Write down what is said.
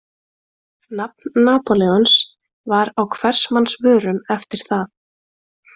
Nafn Napóleons var á hvers manns vörum eftir það.